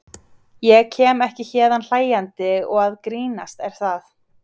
Ég kem ekki héðan hlæjandi og að grínast, er það?